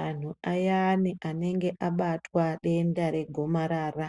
Anhu ayani anenge abatwa denda regomarara,